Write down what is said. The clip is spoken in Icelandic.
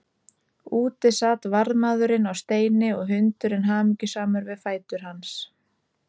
Úti sat varðmaðurinn á steini og hundurinn hamingjusamur við fætur hans.